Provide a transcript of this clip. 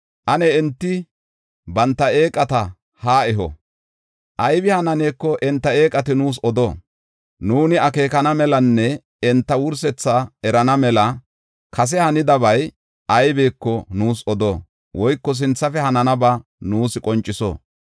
Ane enti banta eeqata haa eho, aybi hananeeko enta eeqati nuus odo. Nuuni akeekana melanne enta wursethaa erana mela kase hanidabay aybeko nuus odo; woyko sinthafe hananaba nuus qonciso.